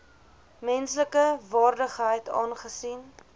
menslike waardigheid aangesien